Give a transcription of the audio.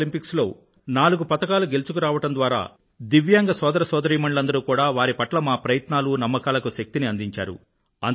Paralympics లో నాలుగు పతకాలు గెలుచుకు రావడం ద్వారా దివ్యాంగ సోదరసోదరీమణులందరూ కూడా వారి పట్ల మా ప్రయత్నాలూ నమ్మకాలకూ శక్తిని అందించారు